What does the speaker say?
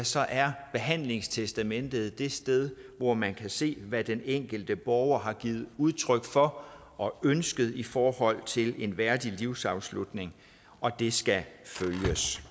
så er behandlingstestamentet det sted hvor man kan se hvad den enkelte borger har givet udtryk for og ønsket i forhold til en værdig livsafslutning og det skal følges